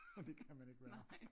Og det kan man ikke være